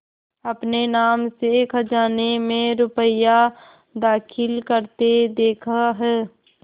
अपने नाम से खजाने में रुपया दाखिल करते देखा है